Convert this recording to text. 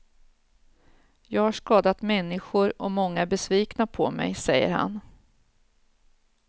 Jag har skadat människor och många är besvikna på mig, säger han.